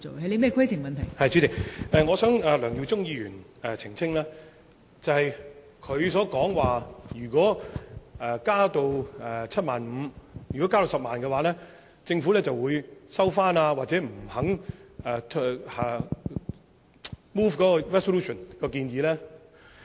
代理主席，我希望向梁耀忠議員澄清，他說，如果我們要求將限額增加到10萬元，政府會收回議案，或者不肯動議擬議決議案。